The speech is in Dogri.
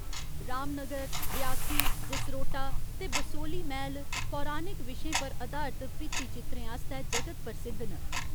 रामनगर, रियासी, जसरोटा ते बसोह्‌ली मैह्‌ल पौराणिक विशें पर अधारत भित्ति चित्रें आस्तै जगत प्रसिद्ध न।